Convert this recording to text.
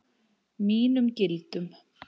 Mínum gildum.